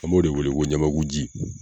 An b'o de wele ko ɲamakuji